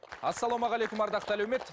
ассалаумағалейкум ардақты әлеумет